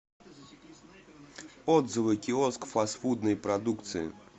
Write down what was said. отзывы киоск фастфудной продукции